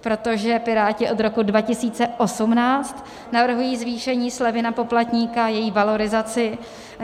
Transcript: protože Piráti od roku 2018 navrhují zvýšení slevy na poplatníka, její valorizaci.